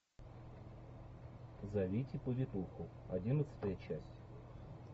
зовите повитуху одиннадцатая часть